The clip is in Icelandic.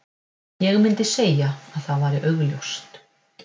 Ég myndi segja að það væri augljóst.